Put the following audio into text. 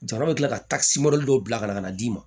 Jamana bɛ tila ka dɔw bila ka na d'i ma